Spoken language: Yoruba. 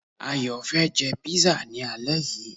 Ayò fé jé pizza ni alé yii